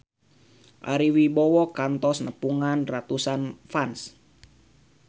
Ari Wibowo kantos nepungan ratusan fans